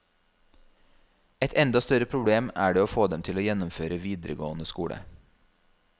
Et enda større problem er det å få dem til å gjennomføre videregående skole.